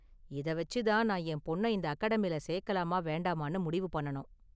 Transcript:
இத வச்சு தான் நான் என் பொண்ண இந்த அகாடமில சேக்கலாமா வேண்டாமானு முடிவு பண்ணனும்.